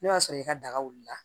Ne b'a sɔrɔ i ka daga wulila